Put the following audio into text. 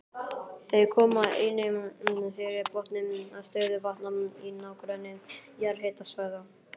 Þau koma einnig fyrir á botni stöðuvatna í nágrenni jarðhitasvæða.